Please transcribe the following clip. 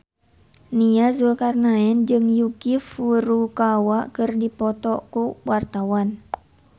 Nia Zulkarnaen jeung Yuki Furukawa keur dipoto ku wartawan